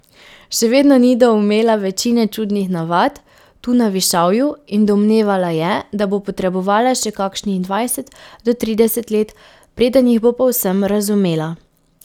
Še vedno ni doumela večine čudnih navad, tu na Višavju, in domnevala je, da bo potrebovala še kakšnih dvajset do trideset let, preden jih bo povsem razumela.